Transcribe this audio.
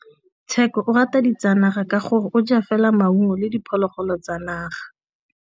Tshekô o rata ditsanaga ka gore o ja fela maungo le diphologolo tsa naga.